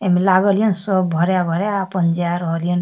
ए में लागल या नै सब भरा भरा अपन जाय रहल हैन ।